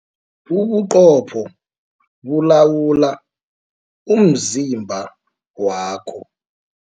Ubuqopho bulawula umzimba wakho.